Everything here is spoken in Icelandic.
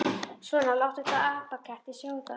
Svona, láttu þessa apaketti sjá það.